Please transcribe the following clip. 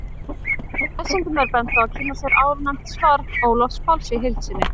Lesendum er bent á að kynna sér áðurnefnt svar Ólafs Páls í heild sinni.